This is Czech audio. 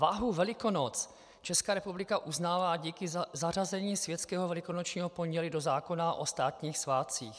Váhu Velikonoc Česká republika uznává díky zařazení světského Velikonočního pondělí do zákona o státních svátcích.